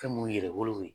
Fɛn mun yɛrɛ bolo